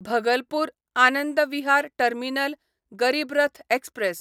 Bhagalpur Anand Vihar terminal Garib Rath express